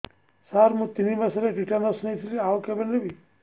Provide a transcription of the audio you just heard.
ସାର ମୁ ତିନି ମାସରେ ଟିଟାନସ ନେଇଥିଲି ଆଉ କେବେ ନେବି